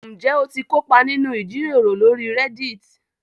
Ǹjẹ́ o ti kópa nínú ìjíròrò lórí Reddit?